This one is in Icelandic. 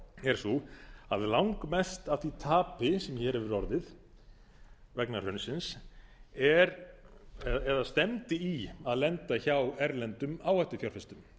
er sú að langmest af því tapi sem hér hefur orðið vegna hrunsins stefndi í að lenda hjá erlendum áhættufjárfestum